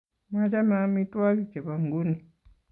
Machame amitwogik chebo nguni